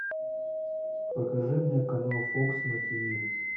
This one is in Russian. покажи мне канал фокс на тв